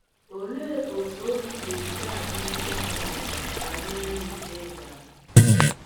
Olee otú obi ga - esi adị ndị mụrụ m banyere m ịga?